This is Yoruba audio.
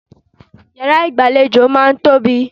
Ìyàrá ìgbàlejò máà ń tóbi.